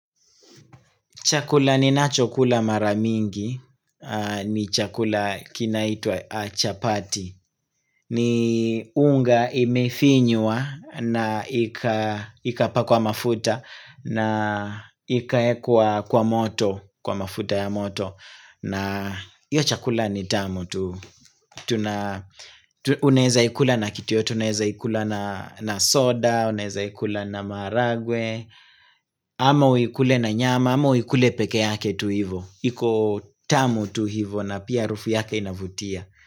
Chakula ninachokula mara mingi, ni chakula kinaitwa chapati, ni unga imefinywa na ikapakwa mafuta na ikaekwa kwa moto, kwa mafuta ya moto. Na hio chakula ni tamu tu Unaeza ikula na kitu yoyote Unaeza ikula na soda Unaeza ikula na maragwe ama uikule na nyama ama uikule peke yake tu hivo iko tamu tu hivo na pia rufu yake inavutia.